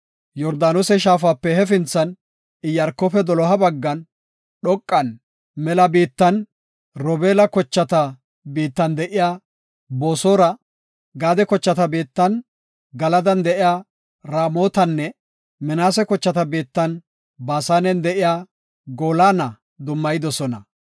Yordaanose shaafape hefinthan, Iyaarkofe doloha baggan dhoqan, mela biittan, Robeela, kochata biittan de7iya Boosora, Gaade kochata biittan, Galadan de7iya Ramotanne Minaase kochata biittan, Baasanen de7iya Goolana dummayidosona.